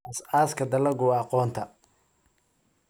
Aasaaska dalaggu waa aqoonta.